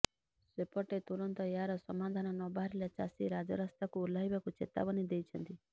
ସେପଟେ ତୁରନ୍ତ ଏହାର ସମାଧାନ ନବାହାରିଲେ ଚାଷୀ ରାଜରାସ୍ତାକୁ ଓହ୍ଲାଇବାକୁ ଚେତାବନୀ ଦେଇଛନ୍ତି